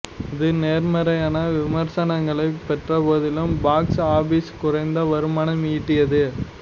இது நேர்மறையான விமர்சனங்களைப் பெற்ற போதிலும் பாக்ஸ் ஆபிஸில் குறைந்த வருமானம் ஈட்டியது